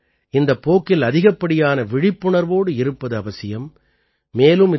நாமும் கூட இந்தப் போக்கில் அதிகப்படியான விழிப்புணர்வோடு இருப்பது அவசியம்